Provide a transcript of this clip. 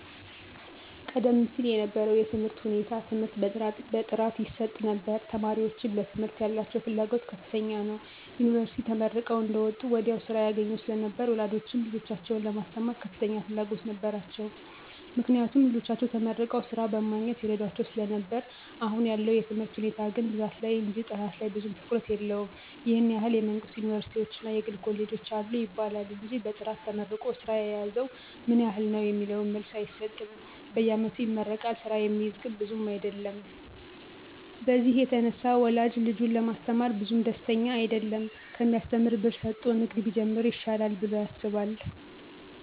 ቀደም ሲል የነበረው የትምህርት ሁኔታ ትምህርት በጥራት ይሰጥ ነበር ተማሪወችም ለትምህርት ያላቸው ፍላጎት ከፍተኛ ነው። ዮኒቨርስቲ ተመርቀው አንደወጡ ወዲያው ስራ ያገኙ ስለነበር ወላጆችም ልጆቻቸውን ለማስተማር ከፍተኛ ፍላጎት ነበራቸው። ምክንያቱም ልጆቻቸው ተመርቀው ስራ በማግኘት ይረዷቸው ስለነበር አሁን ያለው የትምህርት ሁኔታ ግን ብዛት ላይ እንጅ ጥራት ላይ ብዙም ትኩረት የለውም ይህን ያህል የመንግስት ዮኒቨርስቲወች እና የግል ኮሌጆች አሉ ይባላል እንጅ በጥራት ተመርቆ ስራ የያዘው ምን ያህል ነው የሚለውን መልስ አይሰጥም በየአመቱ ይመረቃል ስራ የሚይዝ ግን ብዙም አይደለም በዚህ የተነሳ ወላጅ ልጁን ለማስተማር ብዙም ደስተኛ አይደለም ከሚያሰተምር ብር ሰጦ ንግድ ቢጀምር ይሻላል ብሎ ያስባል።